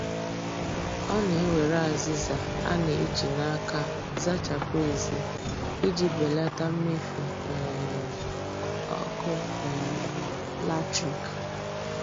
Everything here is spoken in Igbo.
Ọ na-ewere azịza a na-eji n' aka zachapụ èzí iji belata mmefu um ọkụ um latrik